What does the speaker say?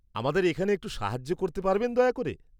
আমাদের এখানে একটু সাহায্য করতে পারবেন দয়া করে?